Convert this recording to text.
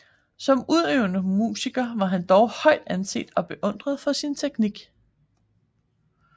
Som udøvende musiker var dog han højt anset og beundret for sin teknik